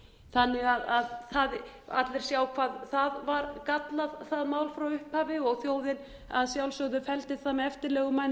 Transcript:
þannig að allir sjá hvað það var gallað það mál frá upphafi og þjóðin að sjálfsögðu felldi